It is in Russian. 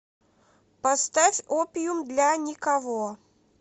поставь опиум для никого